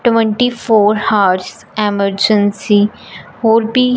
twenty four hours emergency और भी--